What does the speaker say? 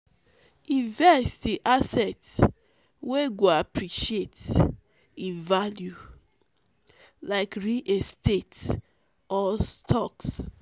invest in assets wey go appreciate in value like real estate or stocks.